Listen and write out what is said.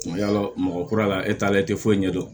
Yala mɔgɔ kura la e t'a la i te foyi ɲɛ dɔn